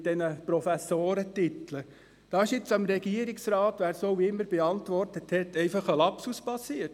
mit den Professorentiteln ist dem Regierungsrat – wer auch immer das beantwortet hat – ein Lapsus passiert.